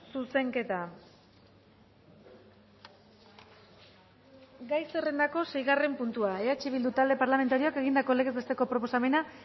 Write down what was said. zuzenketa gai zerrendako seigarren puntua eh bildu talde parlamentarioak egindako legez besteko proposamena